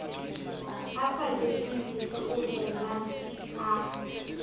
a sa jeseng ditheohelang a